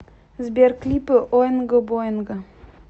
сбер клипы оинго боинго